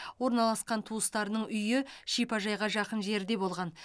орналасқан туыстарының үйі шипажайға жақын жерде болған